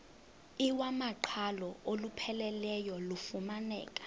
iwamaqhalo olupheleleyo lufumaneka